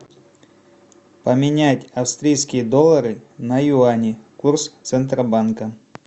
поменять австрийские доллары на юани курс центробанка